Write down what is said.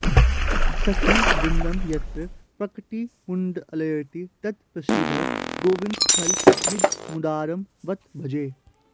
सखीवृन्दं यत्र प्रकटितमुदान्दोलयति तत् प्रसिद्धं गोविन्दस्थलमिदमुदारं बत भजे